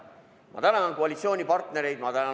Ma tänan koalitsioonipartnereid!